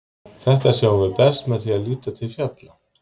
þetta sjáum við best með því að líta til fjalla